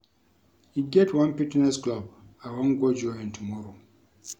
E get one fitness club I wan go join tomorrow